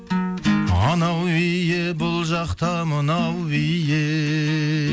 анау биі бұл жақта мынау биі